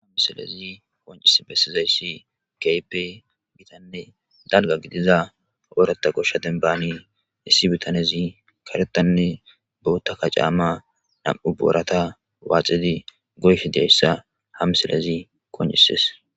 Ha misilezi koncis bessizayssi gaype bitanne dalga gidiza oorata goshsha denbaani issi bitanezi karetanne bootta ka caamma nam'u boorata waaxidi goyf diyayssa hamisilezi koncises